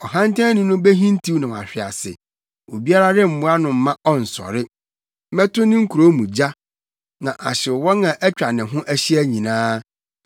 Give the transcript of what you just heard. Ɔhantanni no behintiw na wahwe ase, obiara remmoa no mma ɔnnsɔre; mɛto ne nkurow mu gya na ahyew wɔn a atwa ne ho ahyia nyinaa.”